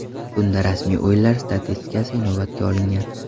Bunda rasmiy o‘yinlar statistikasi inobatga olingan.